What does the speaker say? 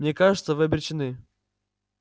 мне кажется вы обречены